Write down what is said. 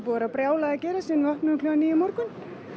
vera brjálað að gera síðan við opnuðum klukkan níu í morgun